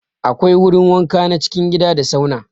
Akwai wurin wanka na cikin gida da sauna.